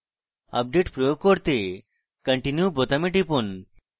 update প্রয়োগ করতে continue বোতামে টিপুন